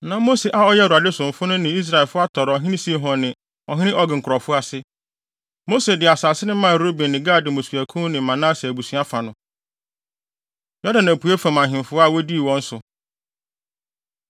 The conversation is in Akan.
Na Mose a ɔyɛ Awurade somfo no ne Israelfo atɔre ɔhene Sihon ne ɔhene Og nkurɔfo ase. Mose de wɔn asase maa Ruben ne Gad mmusuakuw ne Manase abusua fa no. Yordan Apuei Fam Ahemfo A Wodii Wɔn So